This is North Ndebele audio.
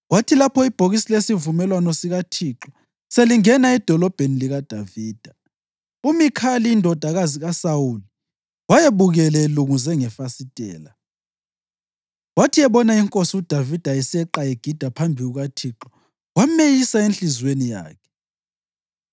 Kwathi lapho ibhokisi lesivumelwano sikaThixo selingena eDolobheni likaDavida, uMikhali indodakazi kaSawuli wayebukele elunguze ngefasitela. Wathi ebona inkosi uDavida eseqa egida phambi kukaThixo, wameyisa enhliziyweni yakhe.